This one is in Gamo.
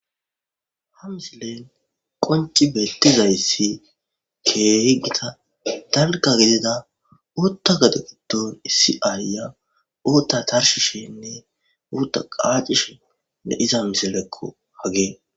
Ha misilen qonci bettiza issi keehi gita dalgga giddida uutta gado giddon issi aaayya uutta tarshishenne uutta qaaccishene iza misilekka hageen.